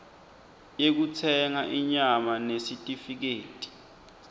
yekutsenga inyama nesitifiketi